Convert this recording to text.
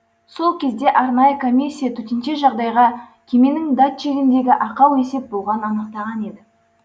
сол кезде арнайы комиссия төтенше жағдайға кеменің датчигіндегі ақау есеп болғанын анықтаған еді